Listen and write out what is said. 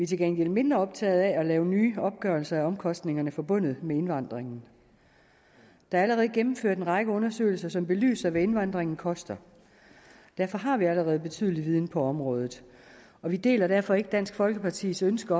til gengæld mindre optagede af at lave nye opgørelser af omkostningerne forbundet med indvandringen der er allerede gennemført en række undersøgelser som belyser hvad indvandringen koster derfor har vi allerede en betydelig viden på området og vi deler derfor ikke dansk folkepartis ønske